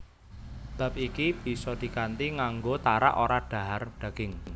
Bab iki bisa dikanthi nganggo tarak ora dhahar daging